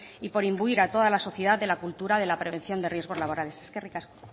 y por imbuir a toda la sociedad de la cultura de la prevención de riesgos laborales eskerrik asko